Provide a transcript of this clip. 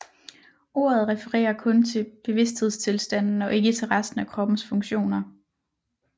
Ordet refererer kun til bevidsthedstilstanden og ikke til resten af kroppens funktioner